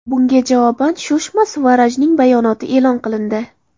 Bunga javoban Sushma Svarajning bayonoti e’lon qilindi.